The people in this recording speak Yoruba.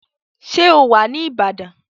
Ṣé ó wà ní Ìbàdàn?